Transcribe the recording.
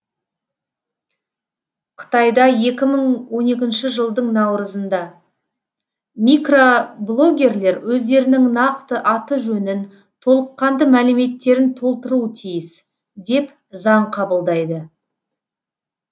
қытайда екі мың он екінші жылдың наурызында микроблогерлер өздерінің нақты аты жөнін толыққанды мәліметтерін толтыруы тиіс деп заң қабылдайды